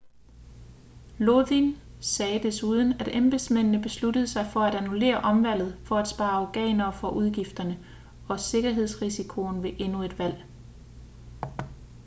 lodin sagde desuden at embedsmændene besluttede sig for at annullere omvalget for at spare afghanerne for udgifterne og sikkerhedsrisikoen ved endnu et valg